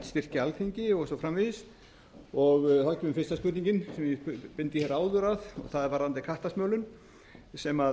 styrkja alþingi og svo framvegis þá kemur fyrsta spurningin sem ég beindi hér áður að og það er varðandi kattasmölun sem